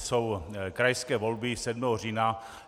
Jsou krajské volby 7. října.